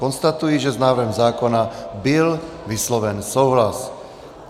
Konstatuji, že s návrhem zákona byl vysloven souhlas.